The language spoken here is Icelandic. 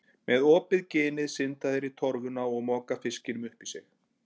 Með opið ginið synda þeir í torfuna og moka fiskinum upp í sig.